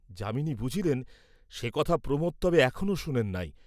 যামিনী বুঝিলেন, সে কথা প্রমোদ তবে এখনও শুনেন নাই।